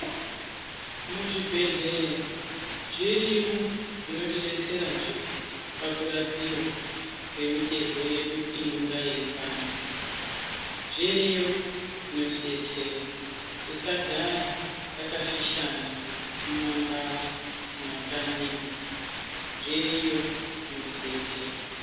Muzvibhedhlera zvirimwo zvinotibetserazve pakurapiwa kwemitezo yedu inonge yeipanda. Zviriyo zvinotidetsera, tisagara takafishana mumamhatso, mumakanyimwo, zviriyo zvinotidetsera.